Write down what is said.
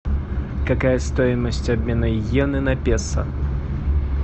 какая стоимость обмена йены на песо